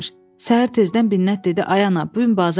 Səhər tezdən Binnət dedi: Ay ana, bu gün bazardır,